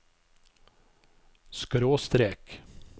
skråstrek